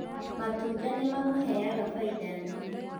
Matunda nĩ mamũheaga faida nene